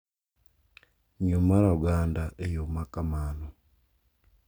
Ng'iyo mar oganda e yo makamano,